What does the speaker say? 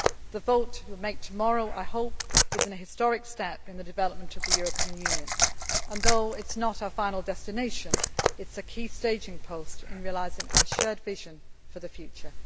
The vote you will make tomorrow, I hope, is an historic step in the development of the European Union and, although it is not our final destination, it is a key staging post in realising our shared vision for the future.